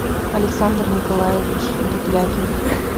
александр николаевич дуплякин